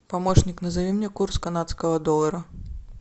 помощник назови мне курс канадского доллара